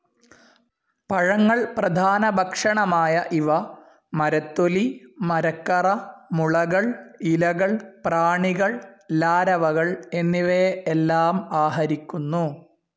പഴങ്ങൾ പ്രധാനഭക്ഷണമായ ഇവ മരത്തൊലി, മരക്കറ, മുളകൾ, ഇലകൾ, പ്രാണികൾ, ലാരവകൾ എന്നിവയെ എല്ലാം ആഹരിക്കുന്നു.